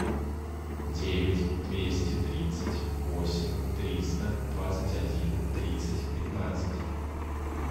девять двести тридцать восемь триста двадцать один тридцать пятнадцать